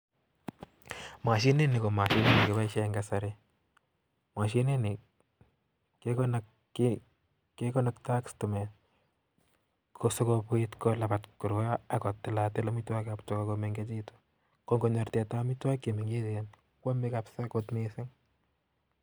Mashini.ko mashinit nekipaishee Eng kasari akepaishe stimeet sigopit kotil atil. amitwogik ap Tuga komengechitu sigopit kwam Tuga